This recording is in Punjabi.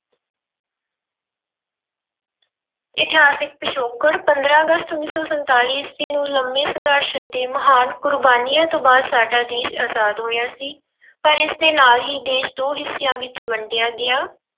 ਇਤਿਹਾਸਿਕ ਪਿਛੋਕੜ ਪੰਦਰਾਂ ਅਗਸਤ ਉੱਨੀ ਸੌ ਸੰਤਾਲੀ ਈਸਵੀ ਨੂੰ ਲੰਬੇ ਸੰਘਰਸ਼ ਅਤੇ ਮਹਾਨ ਕੁਰਬਾਨੀਆਂ ਤੋਂ ਬਾਅਦ ਸਾਡਾ ਦੇਸ ਆਜ਼ਾਦ ਹੋਇਆ ਸੀ ਪਰ ਇਸਦੇ ਨਾਲ ਹੀ ਦੇਸ ਦੋ ਹਿੱਸਿਆਂ ਵਿੱਚ ਵੰਡਿਆ ਗਿਆ।